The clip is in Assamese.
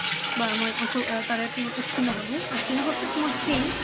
বা মই তাৰে উত্তীৰ্ণ হলোঁ উত্তীৰ্ণ হোৱা পিছত মই সেই